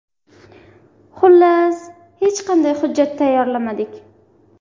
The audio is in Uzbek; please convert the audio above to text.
Xullas, hech qanday hujjat tayyorlamadik.